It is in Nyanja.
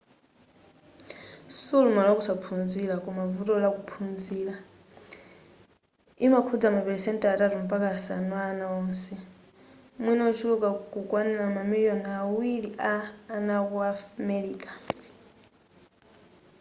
siulumali wa kusaphunzira koma vuto la kuphunzira imakhudza ma pelesenti atatu mpakana asanu a ana onse mwina ochuluka kukwanila mamiliyoni awiri a ana aku america